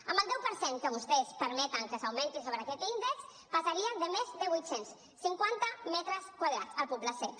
amb el deu per cent que vostès permeten que s’augmenti sobre aquest índex passaria de més de vuit cents cinquanta metres quadrats al poble sec